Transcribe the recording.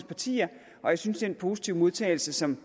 partier og jeg synes den positive modtagelse som